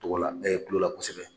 Togo la, kulola kosɛbɛ